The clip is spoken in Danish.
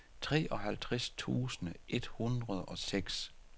treoghalvtreds tusind et hundrede og seks